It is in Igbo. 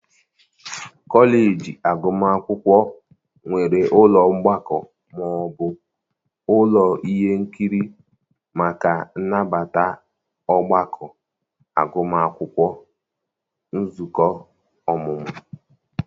kọleji agụmakwụkwọ nwere ụlọ mgbakọ ma ọ bụ ụlọ ihe nkiri maka nnabata ọgbakọ agụmakwụkwọ, nzukọ ọmụmụ